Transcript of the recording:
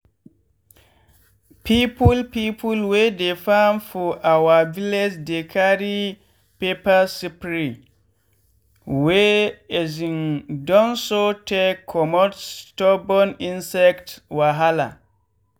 people people wey dey farm for our village dey carry pepper spray wey um don sour take comot stubborn insect wahala.